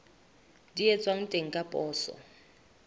di etswang teng ka poso